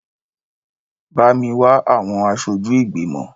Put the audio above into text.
Bá mi wá àwọn aṣojú ìgbìmọ̀!